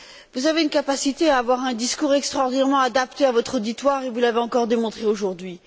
Vous avez une capacité à avoir un discours extraordinairement adapté à votre auditoire, ce que vous avez encore démontré aujourd'hui.